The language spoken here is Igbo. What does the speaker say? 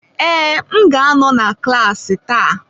Ee, m ga-anọ na klaasị taa.